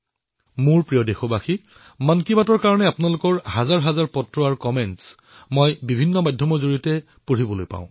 মোৰ মৰমৰ দেশবাসীসকল মন কী বাতলৈ আপোনালোকৰ পৰা হাজাৰখন পত্ৰ মন্তব্য মই বিভিন্ন মাধ্যমেৰে লাভ কৰো